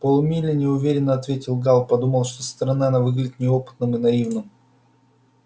полмили неуверенно ответил гаал подумав что со стороны он выглядит неопытным и наивным